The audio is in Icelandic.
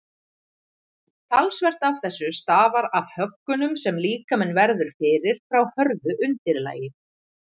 talsvert af þessu stafar af höggunum sem líkaminn verður fyrir frá hörðu undirlagi